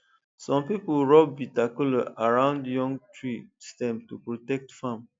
some people rub bitter kola around young tree stem to protect farm